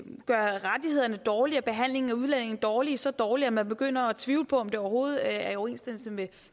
gøre rettighederne dårlige og behandlingen af udlændinge dårlig så dårlig at man begynder at tvivle på om det overhovedet er i overensstemmelse med